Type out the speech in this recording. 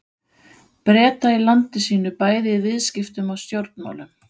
Breta í landi sínu bæði í viðskiptum og stjórnmálum.